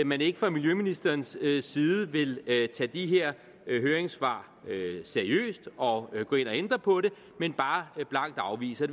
man ikke fra miljøministerens side vil tage de her høringssvar seriøst og gå ind og ændre på det men bare blankt afviser